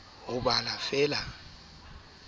nkile maeto e le bo